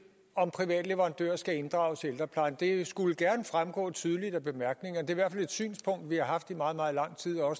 om private leverandører skal inddrages i ældreplejen det skulle gerne fremgå tydeligt af bemærkningerne det hvert fald et synspunkt vi har haft i meget meget lang tid og